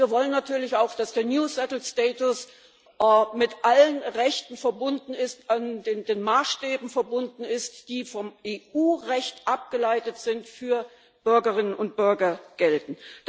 Und wir wollen natürlich auch, dass der new settled status mit allen Rechten und den Maßstäben verbunden ist, die vom EU Recht abgeleitet sind und für Bürgerinnen und Bürger gelten.